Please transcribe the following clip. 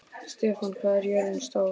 Stefana, hvað er jörðin stór?